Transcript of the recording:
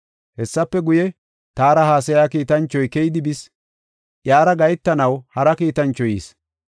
Hessafe guye, taara haasaya kiitanchoy keyidi bis; iyara gahetanaw hara kiitanchoy yis.